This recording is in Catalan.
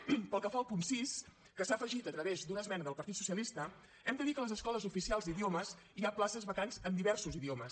pel que fa al punt sis que s’ha afegit a través d’una esmena del partit socialista hem de dir que a les escoles oficials d’idiomes hi ha places vacants en diversos idiomes